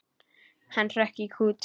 Hann hrökk í kút.